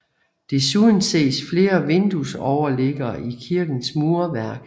Desuden ses flere vinduesoverliggere i kirkens murværk